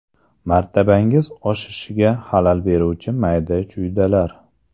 Martabangiz oshishiga xalal beruvchi mayda-chuydalar.